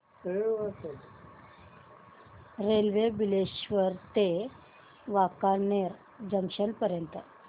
railway Bileshwar ते Wankaner junction पर्यंत